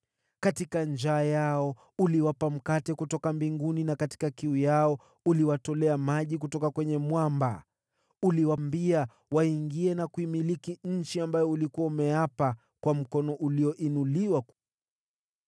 Katika njaa yao uliwapa mkate kutoka mbinguni, na katika kiu yao uliwatolea maji kutoka kwenye mwamba. Uliwaambia waingie na kuimiliki nchi ambayo ulikuwa umeapa kuwapa kwa mkono ulioinuliwa.